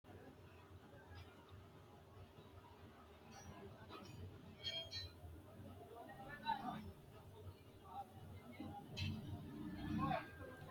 knuni maa leellishanno ? danano maati ? badheenni noori hiitto kuulaati ? mayi horo afirino ? kowiicho waannu biranu negihu worbu maa assanni nooikka